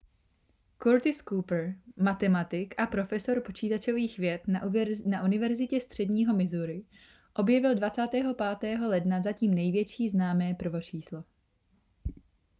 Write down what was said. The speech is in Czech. curtis cooper matematik a profesor počítačových věd na univerzitě středního missouri objevil 25. ledna zatím největší známé prvočíslo